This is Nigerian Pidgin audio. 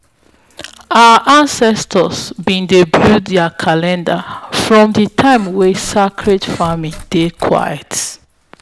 our ancestors be dey build their calendar from di time wey sacred farming dey quiet.